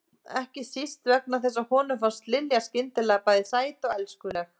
Ekki síst vegna þess að honum fannst Lilja skyndilega bæði sæt og elskuleg.